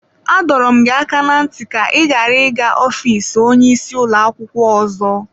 Adọrọ m gị aka na ntị ka ị ghara ịga ofiisi onye isi ụlọ akwụkwọ ọzọ!